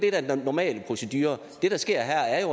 er den normale procedure det der sker her er